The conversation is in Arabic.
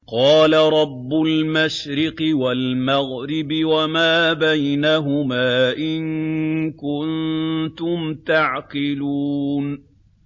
قَالَ رَبُّ الْمَشْرِقِ وَالْمَغْرِبِ وَمَا بَيْنَهُمَا ۖ إِن كُنتُمْ تَعْقِلُونَ